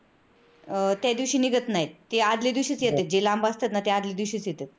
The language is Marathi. त्यादिवशी निघत नाहीत ते आदल्या दिवशीच येतेत, जे लांब असतेत ना ते आदल्या दिवशीच येतेत.